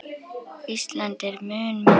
Ísland er mun minna.